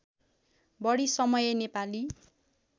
बढी समय नेपाली